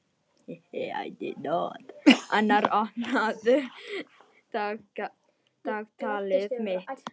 Annar, opnaðu dagatalið mitt.